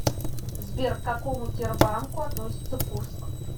сбер к какому тербанку относится курск